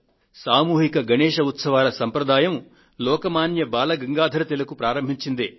సామూహిక గణేశ్ ఉత్సవాల సంప్రదాయం లోక్ మాన్య బాల గంగాధర్ తిలక్ ప్రారంభించిందే